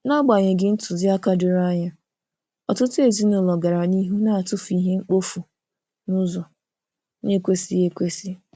N'agbanyeghị ntụziaka doro anya, ọtụtụ ezinụlọ gara n'ihu na-atụfu ihe mkpofu n'ụzọ na-ekwesịghị ekwesị.